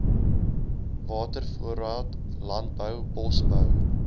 watervoorraad landbou bosbou